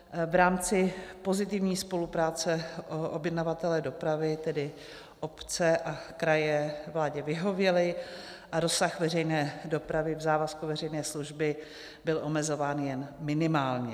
V rámci pozitivní spolupráce objednavatelé dopravy, tedy obce a kraje, vládě vyhověli a rozsah veřejné dopravy v závazku veřejné služby byl omezován jen minimálně.